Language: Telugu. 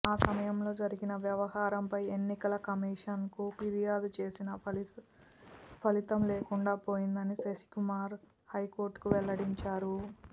ఆ సమయంలో జరిగిన వ్యవహారంపై ఎన్నికల కమీషన్కు ఫిర్యాదు చేసినా ఫలితం లేకుండా పోయిందని శివకుమార్ హైకోర్టుకు వెల్లడించారు